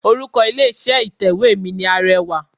Orúkọ ilé iṣẹ́ ìtẹ̀wé mi ni Arẹwà.